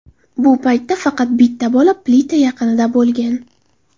Bu paytda faqat bitta bola plita yaqinida bo‘lgan.